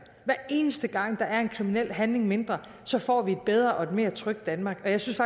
eneste gang der er en kriminel handling mindre får vi et bedre og mere trygt danmark jeg synes